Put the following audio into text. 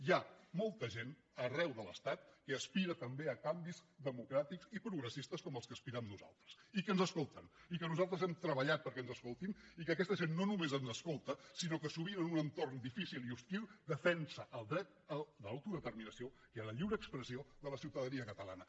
hi ha molta gent arreu de l’estat que aspira també a canvis democràtics i progressistes com als que aspirem nosaltres i que ens escolten i que nosaltres hem treballat perquè ens escoltin i que aquesta gent no només ens escolta sinó que sovint en un entorn difícil i hostil defensa el dret a l’autodeterminació i a la lliure expressió de la ciutadania catalana